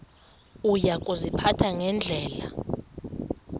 uya kuziphatha ngendlela